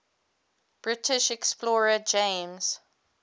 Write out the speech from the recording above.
british explorer james